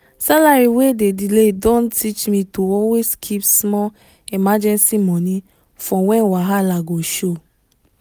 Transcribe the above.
salary wey dey delay don teach me to always keep small emergency money for when wahala go show